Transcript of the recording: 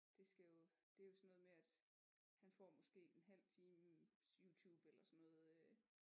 Det skal jo det er jo sådan noget med at han får måske en halv times Youtube eller sådan noget